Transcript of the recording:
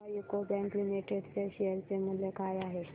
सांगा UCO bank limited च्या share चे मूल्य काय आहे